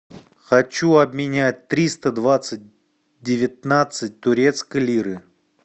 хочу обменять триста двадцать девятнадцать турецкой лиры